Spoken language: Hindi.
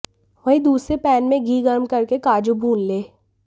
वहीं दूसरे पैन में घी गर्म करके काजू भुने लें